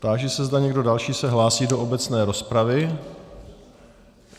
Táži se, zda někdo další se hlásí do obecné rozpravy.